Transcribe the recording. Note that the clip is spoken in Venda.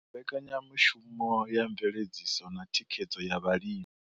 Mbekanyamushumo ya mveledziso na thikhedzo ya vhalimi.